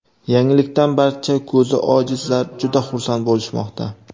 Yangilikdan barcha ko‘zi ojizlar juda xursand bo‘lishmoqda.